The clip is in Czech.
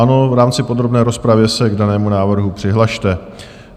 Ano, v rámci podrobné rozpravy se k danému návrhu přihlaste.